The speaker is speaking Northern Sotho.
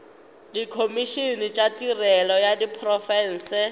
dikhomišene tša tirelo ya diprofense